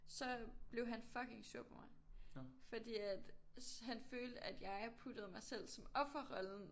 Så blev han fucking sur på mig fordi at han følte at jeg puttede mig selv som offerrollen